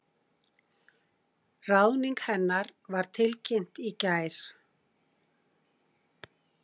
Ráðning hennar var tilkynnt í gær